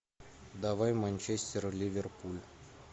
давай манчестер ливерпуль